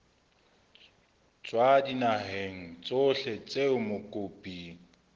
tswa dinaheng tsohle tseo mokopi